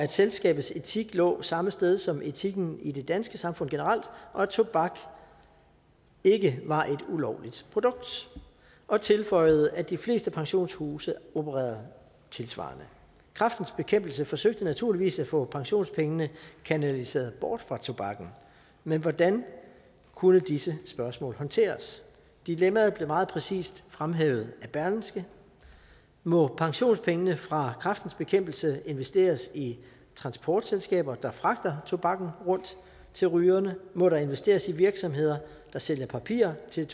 selskabets etik lå samme sted som etikken i det danske samfund generelt og at tobak ikke var et ulovligt produkt og tilføjede at de fleste pensionshuse opererede tilsvarende kræftens bekæmpelse forsøgte naturligvis at få pensionspengene kanaliseret bort fra tobakken men hvordan kunne disse spørgsmål håndteres dilemmaet blev meget præcist fremhævet af berlingske må pensionspengene fra kræftens bekæmpelse investeres i transportselskaber der fragter tobakken rundt til rygerne må der investeres i virksomheder der sælger papir til